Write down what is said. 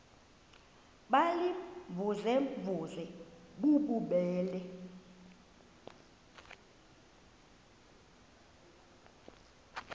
baziimvuze mvuze bububele